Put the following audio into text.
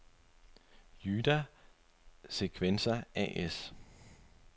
Jyda/Sekvensa as